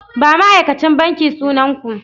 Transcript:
Ba ma'aikacin banki sunan ku!